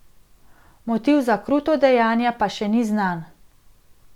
Motiv za kruto dejanje pa še ni znan.